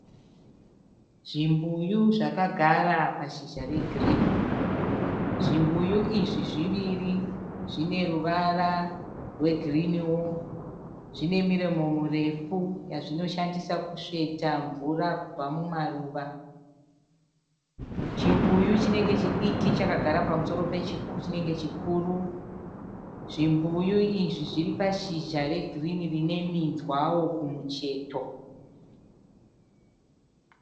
Zvimbuyu zvakagara pashizha regirini, zvimbuyu izvi zviviri zvine ruvara rwegiriniwo zvine miromo murefu yazvinoshandisa kusveta mvura kubva mumaruva, chimbuyu chinenge chidiki chakagara pamusoro pechinenge chikuru, zvimbuyu izvi zviri pashizha regirini rine minzwawo kumucheto.